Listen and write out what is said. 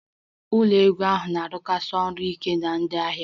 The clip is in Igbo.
Ụlọ ego ahụ na-arụsikarị ọrụ ike na ndị ahịa